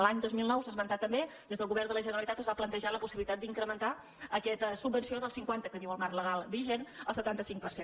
l’any dos mil nou s’ha esmentat també des del govern de la generalitat es va plantejar la possibilitat d’incrementar aquesta subvenció del cinquanta que diu el marc legal vigent al setanta cinc per cent